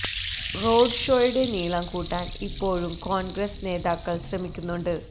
road ഷോയുടെ നീളം കൂട്ടാൻ ഇ്പ്പോഴും കോൺഗ്രസ് നേതാക്കൾ ശ്രമിക്കുന്നുണ്ട്